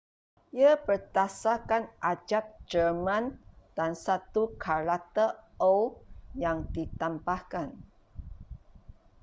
ia berdasarkan abjad jerman dan satu karakter õ/õ” yang ditambahkan